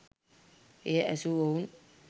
එය ඇසූ ඔවුන්